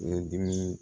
Ye dimi